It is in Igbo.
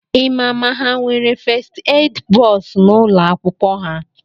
Ịma ma ha nwere fest ed bọs n’ụlọakwụkwọ ha?